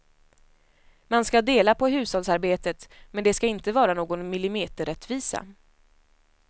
Man ska dela på hushållsarbetet men det ska inte vara någon millimeterrättvisa.